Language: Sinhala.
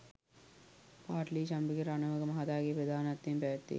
පාඨලී චම්පික රණවක මහතාගේ ප්‍රධානත්වයෙන් පැවැත්වේ